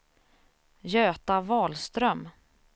Göta Wahlström